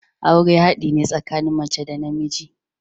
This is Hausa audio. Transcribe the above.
Aure haɗi ne tsakanin mace da namiji.